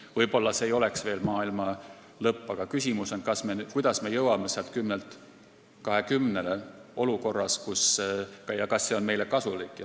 Võib-olla see ei oleks veel maailma lõpp, aga küsimus on, kuidas me jõuame 10-lt 20-le ja kas see on meie olukorras kasulik.